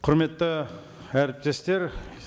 құрметті әріптестер